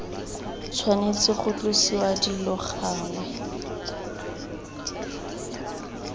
tshwanetse ga tlosiwa dilo gangwe